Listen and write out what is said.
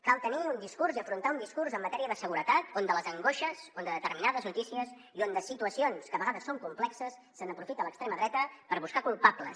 cal tenir un discurs i afrontar un discurs en matèria de seguretat on de les angoixes on de determinades notícies i on de situacions que a vegades són complexes se n’aprofita l’extrema dreta per buscar culpables